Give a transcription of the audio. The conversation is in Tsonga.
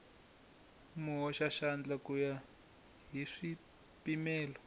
muhoxaxandla ku ya hi swipimelo